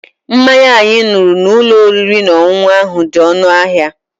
Mmanya anyị ṅụrụ n'ụlọ oriri na ọṅụṅụ ahụ dị ọnụ ahịa.